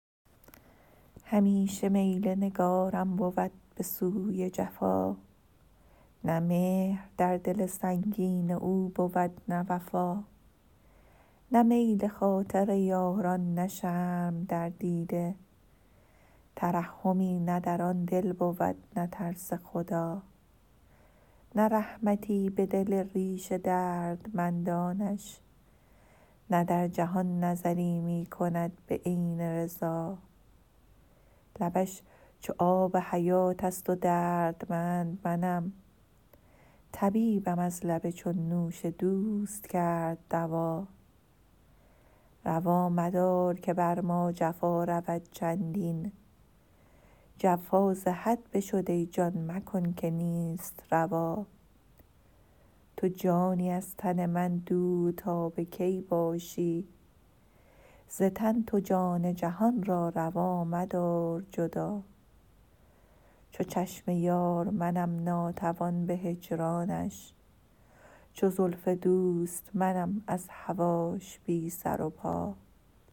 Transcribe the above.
همیشه میل نگارم بود به سوی جفا نه مهر در دل سنگین او بود نه وفا نه میل خاطر یاران نه شرم در دیده ترحمی نه در آن دل بود نه ترس خدا نه رحمتی به دل ریش دردمندانش نه در جهان نظری می کند به عین رضا لبش چو آب حیاتست و دردمند منم طبیبم از لب چون نوش دوست کرد دوا روا مدار که بر ما جفا رود چندین جفا ز حد بشد ای جان مکن که نیست روا تو جانی از تن من دور تا به کی باشی ز تن تو جان جهان را روا مدار جدا چو چشم یار منم ناتوان به هجرانش چو زلف دوست منم از هواش بی سر و پا